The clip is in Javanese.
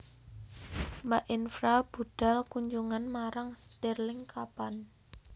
Mbak Infra budhal kunjungan marang stirling kapan